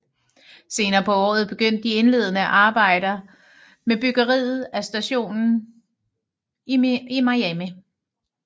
Senere på året begyndte de indledende arbejder med byggeriet af stationen i Miami